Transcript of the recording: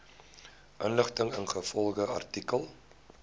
inligting ingevolge artikel